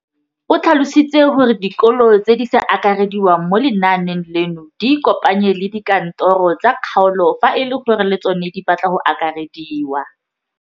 O tlhalositse gore dikolo tse di sa akarediwang mo lenaaneng leno di ikopanye le dikantoro tsa kgaolo fa e le gore le tsona di batla go akarediwa.